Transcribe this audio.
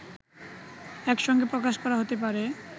একসঙ্গে প্রকাশ করা হতে পারে